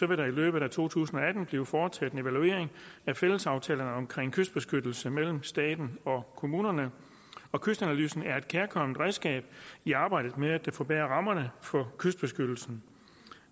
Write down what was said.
vil der i løbet af to tusind og atten blive foretaget en evaluering af fællesaftalerne om kystbeskyttelse mellem staten og kommunerne kystanalysen er et kærkomment redskab i arbejdet med at forbedre rammerne for kystbeskyttelsen